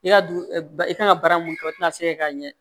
I ka du i kan ka baara mun kɛ o tɛna se k'a ɲɛ